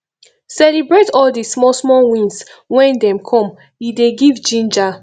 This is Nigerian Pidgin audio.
celebrate all di small small wins when dem come e dey give ginger